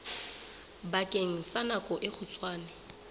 bakeng sa nako e kgutshwane